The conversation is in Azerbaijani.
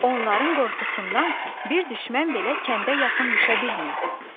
Onların qorxusundan bir düşmən belə kəndə yaxın düşə bilmirdi.